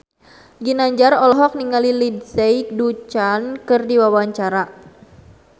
Ginanjar olohok ningali Lindsay Ducan keur diwawancara